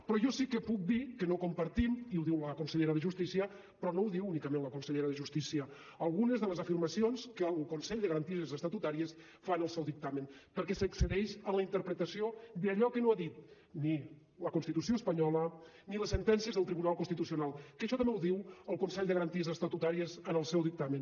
però jo sí que puc dir que no compartim i ho diu la consellera de justícia però no ho diu únicament la consellera de justícia algunes de les afirmacions que el consell de garanties estatutàries fa en el seu dictamen perquè s’excedeix en la interpretació d’allò que no ha dit ni la constitució espanyola ni les sentències del tribunal constitucional que això també ho diu el consell de garanties estatutàries en el seu dictamen